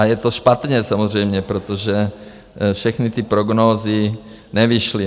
A je to špatně samozřejmě, protože všechny ty prognózy nevyšly.